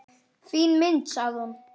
Fín mynd, sagði hún.